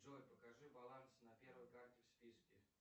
джой покажи баланс на первой карте в списке